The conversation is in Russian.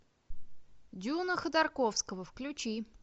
дюна ходорковского включи